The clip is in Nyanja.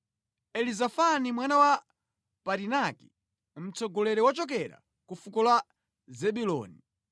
Elizafani mwana wa Parinaki, mtsogoleri wochokera ku fuko la Zebuloni;